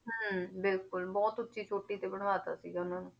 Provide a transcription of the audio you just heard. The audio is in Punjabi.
ਹਮ ਬਿਲਕੁਲ ਬਹੁਤ ਉੱਚੀ ਚੋਟੀ ਤੇ ਬਣਵਾ ਦਿੱਤਾ ਸੀਗਾ ਉਹਨਾਂ ਨੇ।